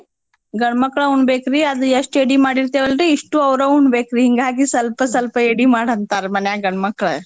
ಗಂಡ್ಮಕ್ಳ್ ಉಣಬೇಕ್ರಿ ಅದ್ ಎಷ್ಟ್ ಎಡಿ ಮಾಡಿರ್ತಿವಲ್ರಿ ಇಷ್ಟೂ ಅವ್ರ ಉಣಬೇಕ್ರಿ ಹಿಂಗಾಗಿ ಸ್ವಲ್ಪ ಸ್ವಲ್ಪ ಎಡಿ ಮಾಡ್ ಅಂತಾರ್ ಗಂಡ್ಮಕ್ಳ್.